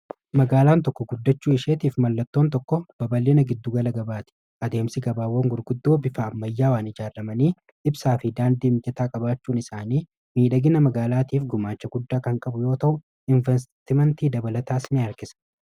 magaalaan tokko guddachuu isheetiif mallattoon tokko babal'ina gidduu gala gabaati. adeemsi gabaawwan gurguddoo bifa ammayyaawaan ijaaramanii ibsaa fi daandii mijataa qabaachuun isaanii miidhagina magaalaatiif gumaacha guddaa kan qabu yoo ta'u invesitimanti dabalataas ni harkisa